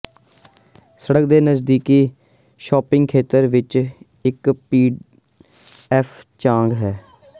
ਸੜਕ ਦੇ ਨਜ਼ਦੀਕੀ ਸ਼ਾਪਿੰਗ ਖੇਤਰ ਵਿੱਚ ਇੱਕ ਪੀ ਐੱਫ ਚਾਂਗ ਹੈ